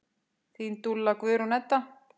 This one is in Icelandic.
Þín dúlla, Guðrún Edda.